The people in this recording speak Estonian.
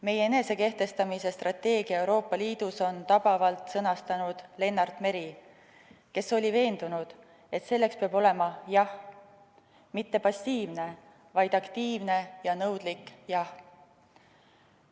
Meie enesekehtestamise strateegia Euroopa Liidus on tabavalt sõnastanud Lennart Meri, kes oli veendunud, et selleks peab olema "jah", mitte passiivne, vaid aktiivne ja nõudlik "jah".